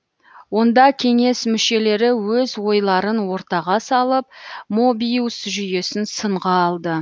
онда кеңес мүшелері өз ойларын ортаға салып мобиус жүйесін сынға алды